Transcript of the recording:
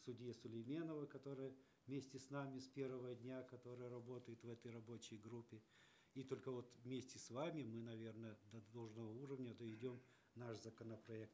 судье сулейменовой которая вместе с нами с первого дня которая работает в этой рабочей группе и только вот вместе с вами мы наверное до должного уровня доведем наш законопроект